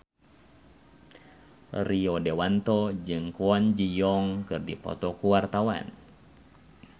Rio Dewanto jeung Kwon Ji Yong keur dipoto ku wartawan